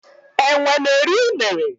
enwe n'eri unere.